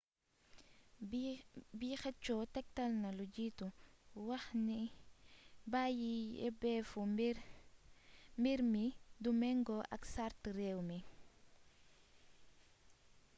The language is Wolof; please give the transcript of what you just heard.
bi xëccoo tektalna lu jiitu waxni bàyyi yebeefu mbir mi du mëngo ak sart réew mi